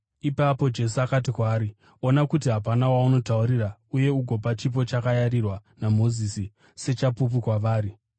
Ipapo Jesu akati kwaari, “Ona kuti hapana waunotaurira uye ugopa chipo chakarayirwa naMozisi sechapupu kwavari.”